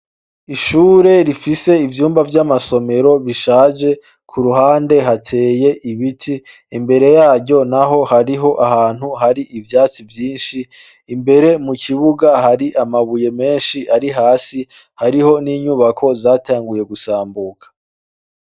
Ishure rifise ivyumba vy'amasomero bishaje ku ruhande hateye ibiti imbere yaryo na ho hariho ahantu hari ivyatsi vyinshi imbere mu kibuga hari amabuye menshi ari hasi hariho n'inyubako zatanguye gusambuka.